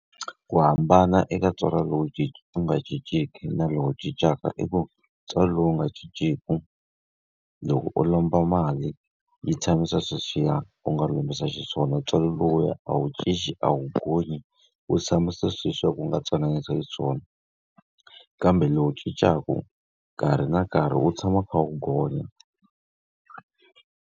Ku hambana eka ntswalo lowu wu nga cinciki na lowu cincaka i ku ntswalo lowu nga cinciki, loko u lomba mali yi tshamisa sweswiya u nga lombisa xiswona. Ntswalo lowuya a wu cinci a wu gonyi, wu tshama sweswiya ku nga twananisiwa xiswona. Kambe lowu cincaka, nkarhi na nkarhi wu tshama wu kha wu gonya.